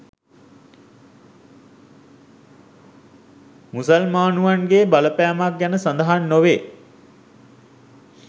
මුසල්මානුවන්ගේ බලපෑමක් ගැන සඳහන් නොවේ